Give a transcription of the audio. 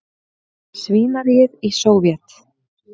svínaríið í Sovét.